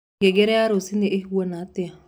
ngengere ya rũcĩũĩhana atia